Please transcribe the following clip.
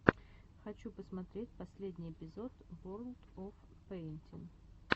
хочу посмотреть последний эпизод ворлд оф пэйнтин